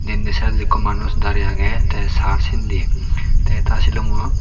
inde ses ekkho manus daray agey ta sar sende ta sulumo.